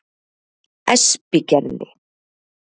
Espigerði